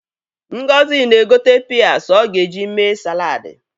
Ngozi na-egote pịas ọ ga-eji mee saladị.